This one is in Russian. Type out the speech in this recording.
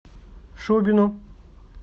шубину